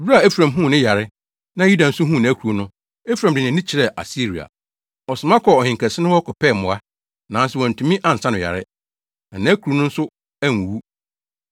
“Bere a Efraim huu ne yare, na Yuda nso huu nʼakuru no, Efraim de nʼani kyerɛɛ Asiria. Ɔsoma kɔɔ ɔhenkɛse no hɔ kɔpɛɛ mmoa. Nanso wantumi ansa no yare, na akuru no nso anwuwu.